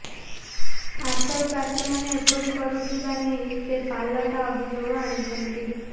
ଆଶାୟୀ ପ୍ରାର୍ଥୀମାନେ ଏପରି କରୁଥିବା ନେଇ ସେ ପାଲଟା ଅଭିଯୋଗ ଆଣିଛନ୍ତି